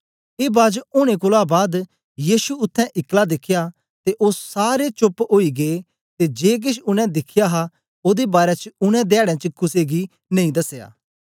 ए बाज ओनें कोलां बाद यीशु उत्थें इकला दिखया ते ओ सारे चोप्प ओई गै ते जे केछ उनै दिखया हा ओदे बारै च उनै धयाड़ें च कुसे गी नेई दसया